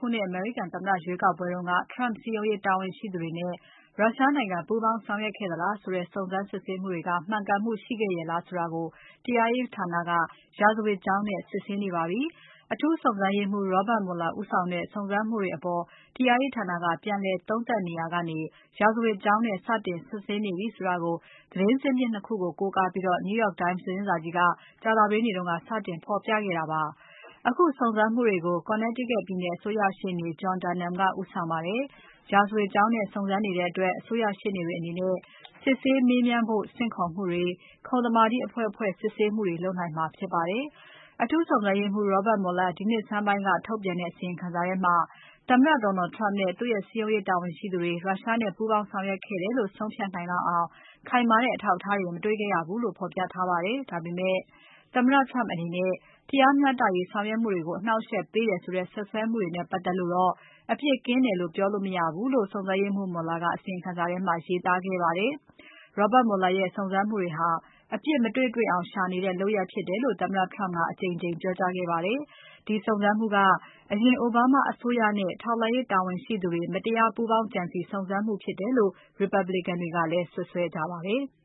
ခုနှစ်အမေရိကန်သမ္မတရွေးကောက်ပွဲမှာ Trump စည်းရုံးရေးတာဝန်ရှိသူတွေနဲ့ ရုရှားနိုင်ငံ ပူးပေါင်းဆောင်ရွက်ခဲ့သလားဆိုတဲ့ စုံစမ်းမှုတွေဟာ မှန်မှန်ကန်ကန်ဆောင်ရွက်ခဲ့သလားဆိုတာကို တရားရေးဌာနက ရာဇဝတ်ကြောင်းနဲ့ စစ်ဆေးနေပါပြီ။ အထူးစုံစမ်းရေးမှူး Robert Mueller ဦးဆောင်ခဲ့တဲ့ စုံစမ်းမှုတွေအပေါ် တရားရေးဌာနက ပြန်လည်သုံးသပ်နေရာကနေ ရာဇဝတ်ကြောင်းနဲ့ စတင် စုံစမ်းစစ်ဆေးနေပြီဆိုတာကို သတင်းဇစ်မြစ် ၂ ခုကို ကိုးကားပြီး New York Times သတင်းစာကြီးက ကြာသပတေးနေ့က စတင်ဖော်ပြခဲ့တာပါ။ အခုစုံစမ်းမှုတွေကို Connecticut ပြည်နယ် အစိုးရရှေ့နေ John Durham ကဦးဆောင်ပါတယ်။ ရာဇဝတ်ကြောင်းနဲ့ စုံစမ်းနေတဲ့အတွက် အစိုးရရှေ့နေတွေအနေနဲ့ စစ်ဆေးမေးမြန်းဖို့ ဆင့်ခေါ်မှုတွေ၊ ခုံသမာဓိအဖွဲ့ ဖွဲ့စစ်ဆေးမှုတွေလုပ်နိုင်မှာဖြစ်ပါတယ်။ အထူးစုံစမ်းရေးမှူး Robert Mueller ဒီနှစ်ဆန်းပိုင်းမှာ ထုတ်ပြန်ခဲ့တဲ့ အစီရင်ခံစာထဲမှာ သမ္မတ Donald Trump နဲ့ သူ့ရဲ့စည်းရုံးရေးတာဝန်ရှိသူတွေ ရုရှားနဲ့ပူးပေါင်းဆောင်ရွက်ခဲ့တယ်လို့ ဆုံးဖြတ်နိုင်လောက်အောင် ခိုင်မာတဲ့ အထောက်အထားတွေ မတေ့ွခဲ့ရဘူးလို့ ဖော်ပြထားပါတယ်။ ဒါပေမဲ့ သမ္မတ Trump အနေနဲ့ တရားမျှတရေးဆောင်ရွက်မှုတွေကို အနှောင့်အယှက်ပေးတယ်ဆိုတဲ့ စွပ်စွဲမှုတွေနဲ့ပတ်သက်လို့တော့ အပြစ်ကင်းတယ်လို့ပြောလို့မရဘူးလို့ စုံစမ်းရေးမှူး Muller ကအစီရင်ခံစာထဲမှာ ရေးသားခဲ့ပါတယ်။ Robert Mueller ရဲ့စုံစမ်းမှုဟာ အပြစ်မတွေ့ တွေ့အောင်ရှာနေတဲ့လုပ်ရပ်ဖြစ်တယ်လို့ သမ္မတ Trump ကအကြိမ်ကြိမ်ပြောကြားခဲ့ပါတယ်။ ဒီစုံစမ်းမှုက အရင် Obama အစိုးရနဲ့ ထောက်လှမ်းရေး တာဝန်ရှိသူတွေ မတရားပူးပေါင်းကြံစည် စုံစမ်းမှုဖြစ်တယ်လို့ Republican တွေကလည်း စွပ်စွဲကြပါတယ်။